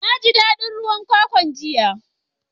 Na ji dadin ruwan kwakwan jiya.